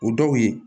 O dɔw ye